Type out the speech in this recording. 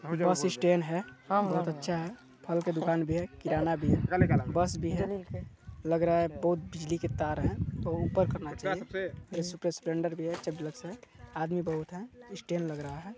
बस स्टैंड है बहुत अच्छा है फल का दुकान भी है किराना भी है बस भी है लग रहा है बहुत बिजली की तार है तो ऊपर करना चाहिए इस्पे स्प्लेंडर भी है चभ लग से आदमी बहुत है स्टैंड लग रहा है।